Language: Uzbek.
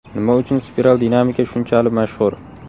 Nima uchun spiral dinamika shunchali mashhur?